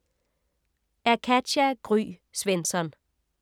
Af Katja Gry Svensson